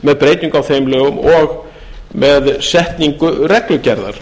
með breytingu á þeim lögum og með setningu reglugerðar